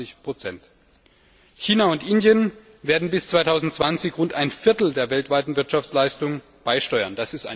27 China und Indien werden bis 2020 rund ein Viertel der weltweiten Wirtschaftsleistung beisteuern.